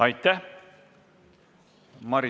Aitäh!